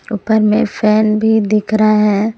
ऊपर में फैन भी दिख रहा है।